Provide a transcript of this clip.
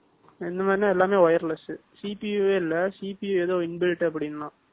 12 . இந்த மாதிரின்னா, எல்லாமே wireless . CPO வே இல்லை, CPI ஏதோ inbuilt அப்படின்னுதான்.